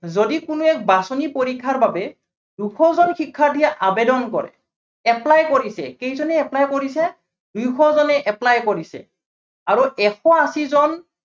যদি কোনোৱে বাচনি পৰীক্ষাৰ বাবে, দুশজন শিক্ষাৰ্থীয়ে আবেদন কৰে। apply কৰিছে, কেইজনে apply কৰিছে, দুইশজনে apply কৰিছে আৰু এশ আশীজন